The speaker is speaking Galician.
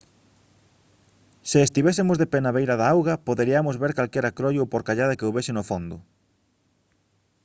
se estivésemos de pé na beira da auga poderiamos ver calquera croio ou porcallada que houbese no fondo